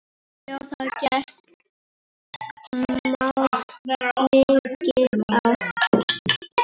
Já það gekk mikið á.